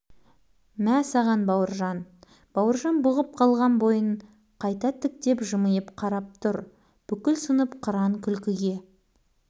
бұл шоқан шоқан болғалы көрмеген қорлық не істеп не қоярын білмей орнынан самарқау тұрып жатты жұдырығы